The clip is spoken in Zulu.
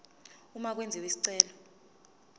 uma kwenziwa isicelo